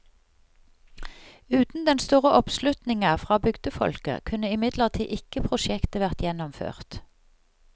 Uten den store oppslutninga fra bygdefolket, kunne imidlertid ikke prosjektet vært gjennomført.